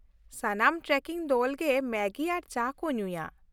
ᱥᱟᱱᱟᱢ ᱴᱨᱮᱠᱤᱝ ᱫᱚᱞ ᱜᱮ ᱢᱮᱜᱤ ᱟᱨ ᱪᱟ ᱠᱚ ᱧᱩᱭᱟ᱾